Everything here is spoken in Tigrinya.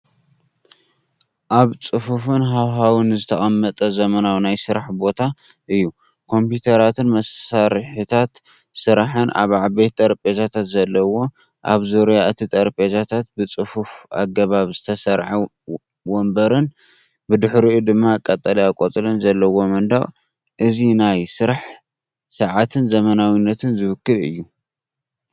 ኣብ ጽፉፍን ሃዋህው ዝተቐመጠ ዘመናዊ ናይ ስራሕ ቦታ እዩ፡ ኮምፒዩተራትን መሳርሒታት ስራሕን ኣብ ዓበይቲ ጠረጴዛታት ዘለዎ። ኣብ ዙርያ እቲ ጠረጴዛታት ብጽፉፍ ኣገባብ ዝተሰርዐ መንበር፡ብድሕሪኡ ድማ ቀጠልያ ቆጽሊ ዘለዎ መንደቕ። እዚ ናይ ስራሕ ጸዓትን ዘመናዊነትን ዝውክል እዩ።